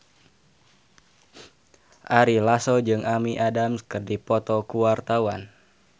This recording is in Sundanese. Ari Lasso jeung Amy Adams keur dipoto ku wartawan